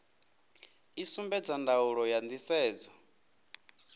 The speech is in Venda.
i sumbedza ndaulo ya nisedzo